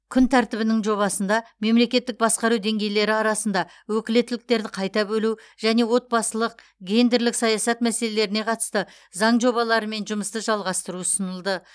күн тәртібінің жобасында мемлекеттік басқару деңгейлері арасында өкілеттіктерді қайта бөлу және отбасылық гендерлік саясат мәселелеріне қатысты заң жобаларымен жұмысты жалғастыру ұсынылды